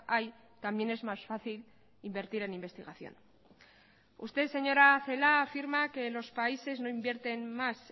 hay también es más fácil invertir en investigación usted señora celaá afirma que los países no invierten más